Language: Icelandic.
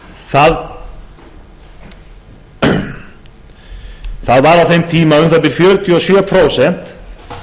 það voru á þeim tíma um það bil fjörutíu og sjö prósent